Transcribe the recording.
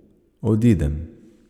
Odidem.